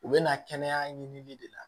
U bɛ na kɛnɛya ɲini de la